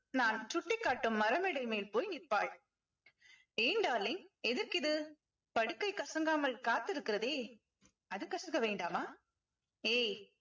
நான் சுட்டிக்காட்டும் மரமேடை மேல் போய் நிற்பாள் ஏன் darling எதற்கு இது படுக்கை கசங்காமல் காத்திருக்கிறதே அது கசக்க வேண்டாமா ஏய்